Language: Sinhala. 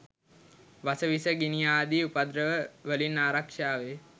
වස විස, ගිනි ආදි උපද්‍රව වලින් ආරක්‍ෂාවේ.